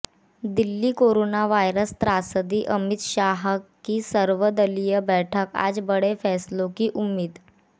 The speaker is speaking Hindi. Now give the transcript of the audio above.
दिल्ली कोरोना वायरस त्रासदी अमित शाह की सर्वदलीय बैठक आज बड़े फैसलों की उम्मीद